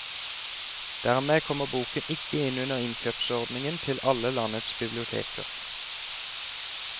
Dermed kommer boken ikke inn under innkjøpsordningen til alle landets biblioteker.